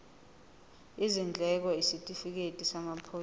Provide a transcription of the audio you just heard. izindleko isitifikedi samaphoyisa